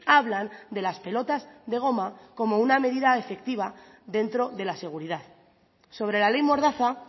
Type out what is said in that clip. hablan de las pelotas de goma como una medida efectiva dentro de la seguridad sobre la ley mordaza